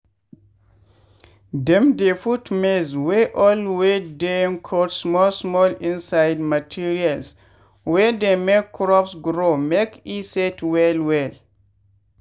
dem dey put maize wey old wey dem cut small small inside materials wey dey make crops grow make e set well well.